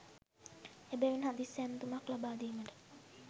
එබැවින් හදිසි ඇමතුමක් ලබාදීමට